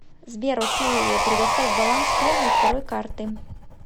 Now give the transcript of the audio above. сбер окей предоставь баланс первой и второй карты